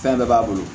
Fɛn bɛɛ b'a bolo